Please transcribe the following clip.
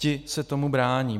Ti se tomu brání.